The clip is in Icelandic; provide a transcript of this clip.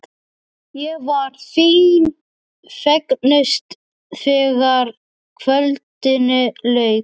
Ég var því fegnust þegar kvöldinu lauk.